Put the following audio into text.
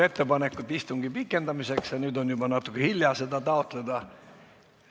Ettepanekut istungi pikendamiseks ei ole laekunud ja nüüd on juba natuke hilja seda taotleda.